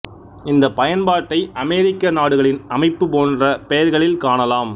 இந்தப் பயன்பாட்டை அமெரிக்க நாடுகளின் அமைப்பு போன்ற பெயர்களில் காணலாம்